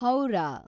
Howrah